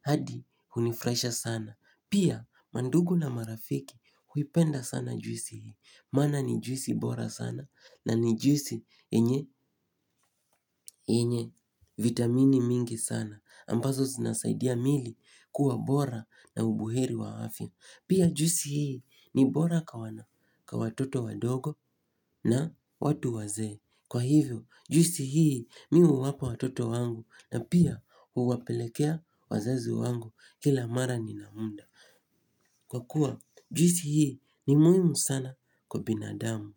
hadi hunifurahisha sana. Pia mandugu na marafiki huipenda sana juisi hii. Maana ni juisi bora sana nani juisi yenye vitamini mingi sana. Ambazo zinasaidia mili kuwa bora na ubuheri wa afya. Pia juisi hii ni bora kwa wana kwa watoto wadogo na watu wazee. Kwa hivyo juisi hii mi huwapa watoto wangu na pia huwapelekea wazazi wangu kila mara ninaunda kwakuwa juisi hii ni muhimu sana kwa binadamu.